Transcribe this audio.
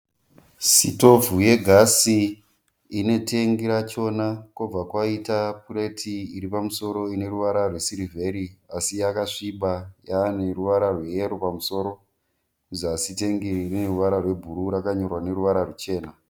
Sitovhu yegasi ine tengi rachoma kobva kwaita pureti iri pamusoro ine ruvara rwesirivheri asi yakasviba yaane ruvara rweyero pamusoro. Kuzasi tengi iri rine ruvara rwebhuruu asi rakanyorwa neruvara ruchena.